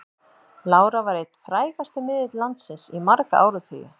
Lára var einn frægasti miðill landsins í marga áratugi.